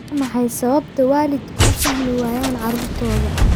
Waa maxay sababta waalidku u fahmi waayaan caruurtooda?